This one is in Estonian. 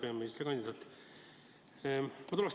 Hea peaministrikandidaat!